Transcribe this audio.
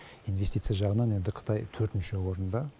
инвестиция жағынан енді қытай төртінші орында